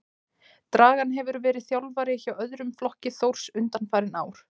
Dragan hefur verið þjálfari hjá öðrum flokki Þórs undanfarin ár.